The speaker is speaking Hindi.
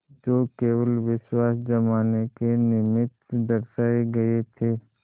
जो केवल विश्वास जमाने के निमित्त दर्शाये गये थे